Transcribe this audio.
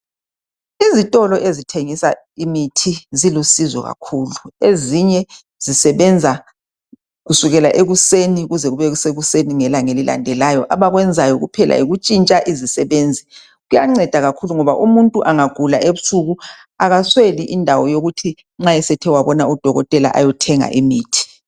Izitolo ezithengisa imithi zilusizo kakhulu ezinye zisebenza kusukela ekuseni kuze kube sekuseni ngelanga elilandelayo. Abakwenzayo kuphela yikuntshintsha izisebenzi. Kuyanceda kakhulu ngoba umuntu angagula ebusuku akasweli indawo yokuthi nxa esethe wabona udokotela ayothenga imithi.